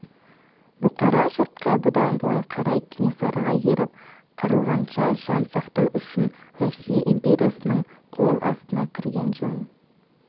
бұқара жұртқа бұдан былай қарай кенесарыға еріп қырылғанша жан сақтау үшін россия империясының қол астына кірген жөн